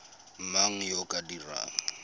mang yo o ka dirang